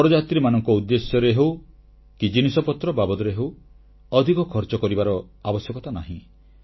ବରଯାତ୍ରୀମାନଙ୍କ ଉଦ୍ଦେଶ୍ୟରେ ହେଉ କି ଜିନିଷପତ୍ର ବାବଦରେ ହେଉ ଅଧିକ ଖର୍ଚ୍ଚ କରିବାର ଆବଶ୍ୟକତା ନାହିଁ